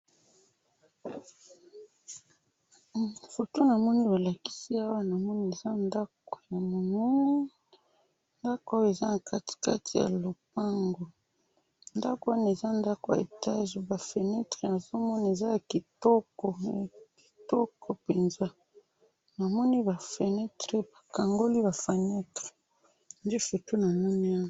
Photo namoni bolakisi awa , namoni eza ndako ya monene ,ndako oyo eza na kati kati ya lopango, ndako wana eza ndako ya étage ba fenetres nazo mona eza ya kitoko ya kitoko penza namoni ba fenetres ,bafongoli ba fenetres ,nde photo namoni awa